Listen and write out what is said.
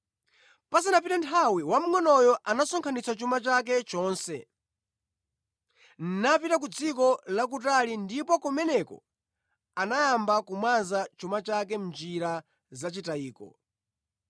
“Pasanapite nthawi, wamngʼonoyo anasonkhanitsa chuma chake chonse, napita ku dziko lakutali ndipo kumeneko anayamba kumwaza chuma chake mʼnjira zachitayiko.